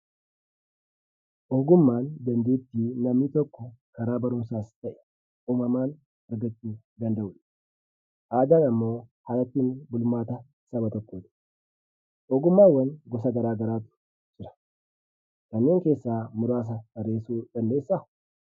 Ogummaan; dandeetti namni tokko karaa barumsas ta'e, uumamaan argachuu danda'udha. Aadaan ammoo haala itti bulmaata nama tokkotti. Ogummaawwan gosa garagaraatu jira. Kannee keessa murasa tarreesu dandeessa?